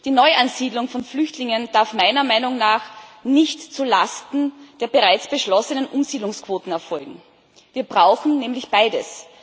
Die Neuansiedlung von Flüchtlingen darf meiner Meinung nach nicht zulasten der bereits beschlossenen Umsiedlungsquoten erfolgen. Wir brauchen nämlich beides.